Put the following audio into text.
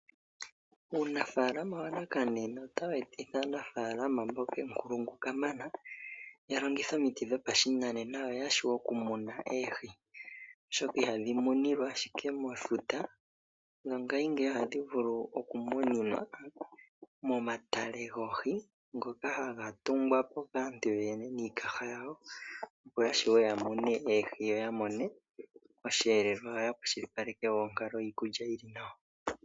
Uunafalama wanakanena otawu etitha aanafalama mboka aankulungu ka mana, ya longithe omiti dhopashinanena yo ya vule oku muna oohi, oshoka ihadhi muninwa ashike mefuta, ngashingeyi otadhi vulu oku muninwa momatale goohi, ngoka haga tungwapo kaanyu niikaha yawo, opo ya mono oohi, yo mone oshiyelelwa shiikalekelwa, nonkalo yiikulya yili nawa.